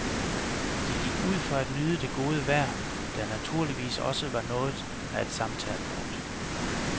De gik ud for at nyde det gode vejr, der naturligvis også var noget af et samtalepunkt.